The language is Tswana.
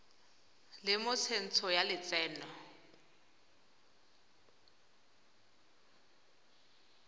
le mo tsentsho ya lotseno